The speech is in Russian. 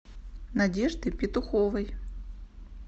надежды петуховой